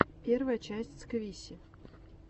первая часть сквиси